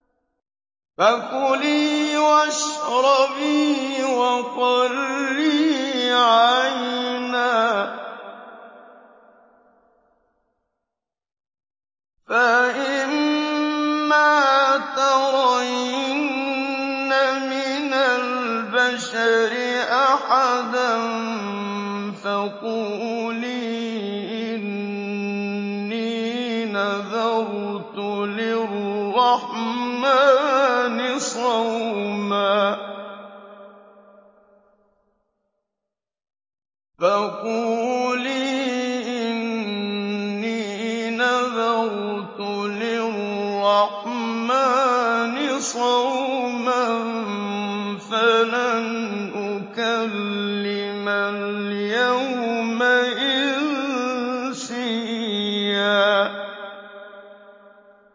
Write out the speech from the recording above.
فَكُلِي وَاشْرَبِي وَقَرِّي عَيْنًا ۖ فَإِمَّا تَرَيِنَّ مِنَ الْبَشَرِ أَحَدًا فَقُولِي إِنِّي نَذَرْتُ لِلرَّحْمَٰنِ صَوْمًا فَلَنْ أُكَلِّمَ الْيَوْمَ إِنسِيًّا